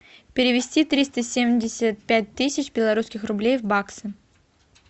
перевести триста семьдесят пять тысяч белорусских рублей в баксы